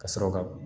Ka sɔrɔ ka